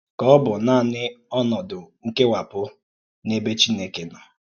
Kà ọ̀ bụ̀ nànị ònòdù nkèwàpụ̀ n’ẹ̀bè Chìnèkè nọ?